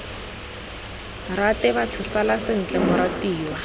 rate batho sala sentle moratiwa